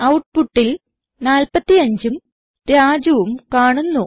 ഔട്ട്പുട്ടിൽ 45ഉം Rajuഉം കാണുന്നു